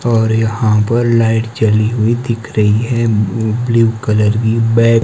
और यहां पर लाइट जली हुई दिख रही है ब्लू कलर की बै--